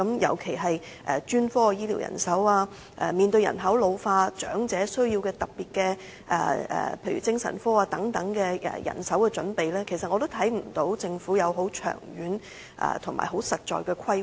尤其是在專科醫療人手方面，面對人口老化，政府須為長者做好醫療人手準備，但我同樣看不到政府已制訂長遠和實在的規劃。